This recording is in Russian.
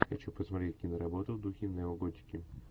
хочу посмотреть киноработу в духе неоготики